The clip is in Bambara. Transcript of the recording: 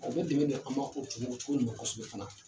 O bɛ dɛmɛn do an ma o kosɛbɛ fana.